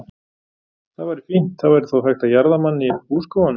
Það væri fínt, það væri þá hægt að jarða mann í húskofanum.